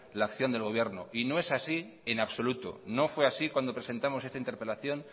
la acción del gobierno y no es así en absoluto no fue así cuando presentamos esta interpelación